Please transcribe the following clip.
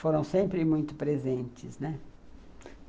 Foram sempre muito presentes, né.